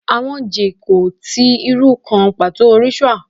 Awọn je kò ti iru kan pato rituals